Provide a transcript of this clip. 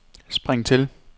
spring til